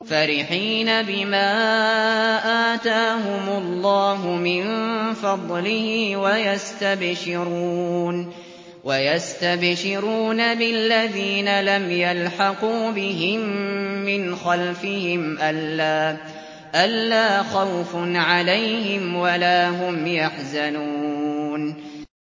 فَرِحِينَ بِمَا آتَاهُمُ اللَّهُ مِن فَضْلِهِ وَيَسْتَبْشِرُونَ بِالَّذِينَ لَمْ يَلْحَقُوا بِهِم مِّنْ خَلْفِهِمْ أَلَّا خَوْفٌ عَلَيْهِمْ وَلَا هُمْ يَحْزَنُونَ